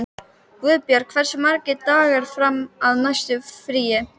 Guðborg, hversu margir dagar fram að næsta fríi?